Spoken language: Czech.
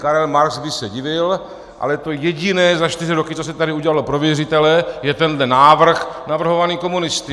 Karel Marx by se divil, ale to jediné za čtyři roky, co se tady udělalo pro věřitele, je tenhle návrh navrhovaný komunisty.